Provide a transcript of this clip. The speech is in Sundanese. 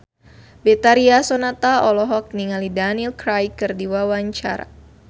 Betharia Sonata olohok ningali Daniel Craig keur diwawancara